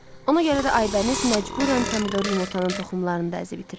Ona görə də Aybəniz məcburən pomidor yumurtanın toxumlarını da əzib itirirdi.